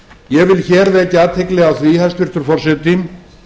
ég vil hér vekja athygli á því hæstvirtur forseti